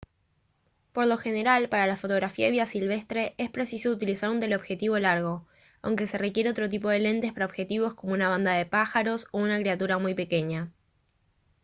por lo general para la fotografía de vida silvestre es preciso utilizar un teleobjetivo largo aunque se requiere otro tipo de lentes para objetivos como una bandada de pájaros o una criatura muy pequeña